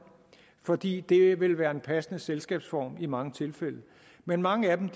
fordi det vil være en passende selskabsform i mange tilfælde men mange af dem